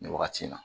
Nin wagati in na